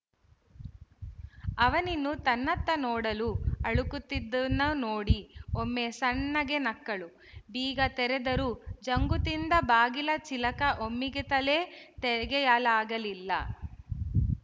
ಅವನಿನ್ನೂ ತನ್ನತ್ತ ನೋಡಲೂ ಅಳುಕುತ್ತಿದ್ದುದನ್ನು ನೋಡಿ ಒಮ್ಮೆ ಸಣ್ಣಗೆ ನಕ್ಕಳು ಬೀಗ ತೆರೆದರೂ ಜಂಗುತಿಂದ ಬಾಗಿಲ ಚಿಲಕ ಒಮ್ಮಿಗತಲೇ ತೆಗೆಯಲಾಗಲಿಲ್ಲ